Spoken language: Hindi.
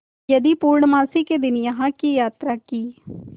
यदि पूर्णमासी के दिन यहाँ की यात्रा की